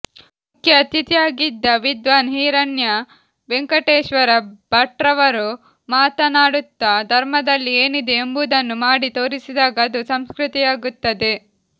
ಮುಖ್ಯ ಅತಿಥಿಯಾಗಿದ್ದ ವಿದ್ವಾನ್ ಹಿರಣ್ಯ ವೆಂಕಟೇಶ್ವರ ಭಟ್ರವರು ಮಾತನಾಡುತ್ತಾ ಧರ್ಮದಲ್ಲಿ ಏನಿದೆ ಎಂಬುದನ್ನು ಮಾಡಿ ತೋರಿಸಿದಾಗ ಅದು ಸಂಸ್ಕೃತಿಯಾಗುತ್ತದೆ